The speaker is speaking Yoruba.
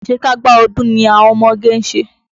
Àṣekágbá ọdún ni àwọn ọmọge ń ṣe.